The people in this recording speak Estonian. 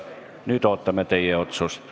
Nüüd ootame teie otsust.